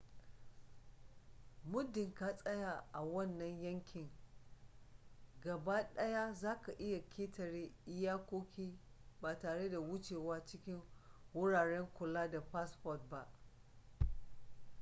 muddin ka tsaya a wannan yankin gabaɗaya zaka iya ƙetare iyakoki ba tare da wucewa cikin wuraren kula da fasfon ba